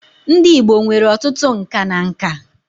Ndị Igbo nwere ọtụtụ nka na nka